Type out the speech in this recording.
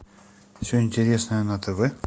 все интересное на тв